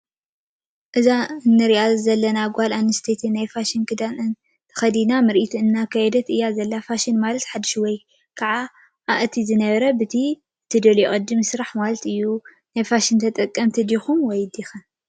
እዛ እንረኣ ዘለና ጓል ኣነስተይቲ ናይ ፋሽን ክዳን ተከዲና ምርኢት እንዳኣርኣየት እያ ዘላ። ፋሽን ማለት ሓዱሽ ወይ ከኣ እቲ ዝነበረ ብቲ እትደልዮ ቅድ ምስራሕ ማለት እዩ። ናይ ፋሽን ተደጠምቲ ዲኹም/ን